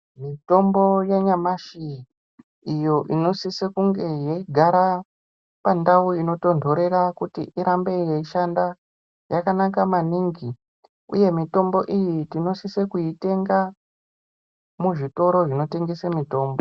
Mitombo yanyamashi iyo inosiso kunga yeigara pandau inotonhorera kuti irambe yeishanda yakanaka maningi, uye mitombo iyi tinosise kuitenga muzvitoro zvinotengese mitombo.